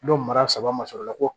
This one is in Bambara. N'o mara saba ma sɔrɔ ola ko